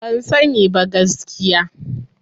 Ban sani ba, gaskiya.